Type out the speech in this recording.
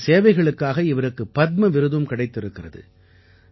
இவரது சேவைகளுக்காக இவருக்கு பத்ம விருதும் கிடைத்திருக்கிறது